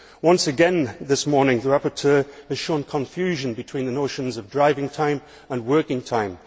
Once again this morning, the rapporteur has shown confusion between the notions of driving time and working time.